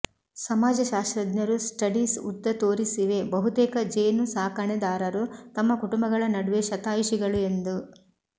ಸಮಾಜಶಾಸ್ತ್ರಜ್ಞರು ಸ್ಟಡೀಸ್ ಉದ್ದ ತೋರಿಸಿವೆ ಬಹುತೇಕ ಜೇನುಸಾಕಣೆದಾರರು ತಮ್ಮ ಕುಟುಂಬಗಳ ನಡುವೆ ಶತಾಯುಷಿಗಳು ಎಂದು